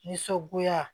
Nisɔngoya